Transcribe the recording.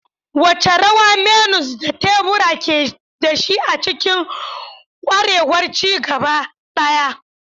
Wace rawa menus da teburi ke da shi a cikin ƙwarewar ci gaba ɗaya?